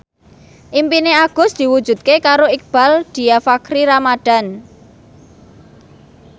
impine Agus diwujudke karo Iqbaal Dhiafakhri Ramadhan